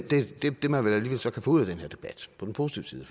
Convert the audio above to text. man så alligevel kan få ud af den her debat på den positive